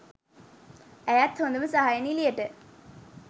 ඇයත් හොදම සහාය නිළියට